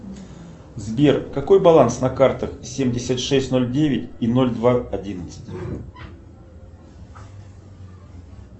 сбер какой баланс на картах семьдесят шесть ноль девять и ноль два одиннадцать